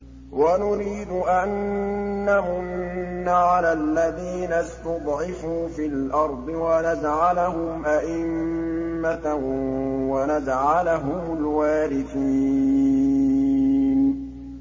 وَنُرِيدُ أَن نَّمُنَّ عَلَى الَّذِينَ اسْتُضْعِفُوا فِي الْأَرْضِ وَنَجْعَلَهُمْ أَئِمَّةً وَنَجْعَلَهُمُ الْوَارِثِينَ